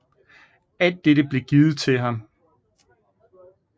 Alt dette blev givet til ham